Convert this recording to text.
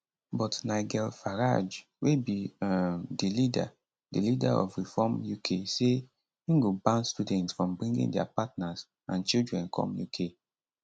but nigel farage wey be um di leader di leader of reform uk say im go ban students from bringing dia partners and children come uk